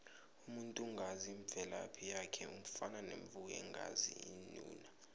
umuntu ongazi imvelaphi yakhe ufana nemvu engazi unina